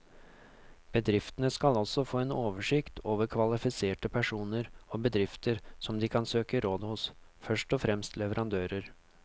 Bedriftene skal også få en oversikt over kvalifiserte personer og bedrifter som de kan søke råd hos, først og fremst leverandører.